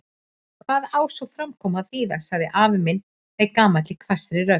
Hvað á svona framkoma að þýða? sagði afi minn með gamalli hvassri rödd.